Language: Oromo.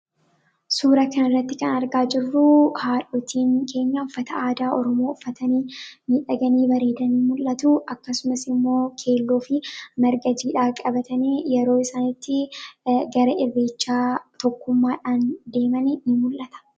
Suura kana irratti kan argaa jirru, haadhotiin keenya uffata aadaa Oromoo uffatanii, miidhaganii bareedanii mul'atu. Akkasumas immoo keelloo fi marga jiidhaa qabatanii yeroo isaan itti gara irreechaa tokkummaadhaan deeman ni mul'ata.